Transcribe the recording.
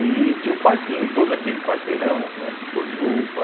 E tinha um parquinho, todo aquele quarteirão, né Cojuba,